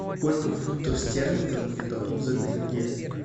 сколько фунтов стерлингов мне дадут за тенге